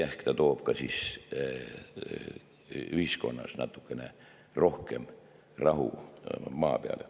Ehk ta toob ka siis ühiskonnas natukene rohkem rahu maa peale.